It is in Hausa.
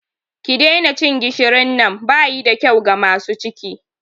Ki daina cin gishirin nan!bayi da kyau ga masu ciki.